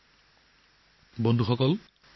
বন্ধু বান্ধৱীসকল